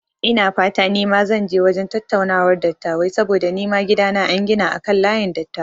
Ina fata nima zan je wajen tattaunawar dattabai saboda nima gidana an gina akan layin dattawa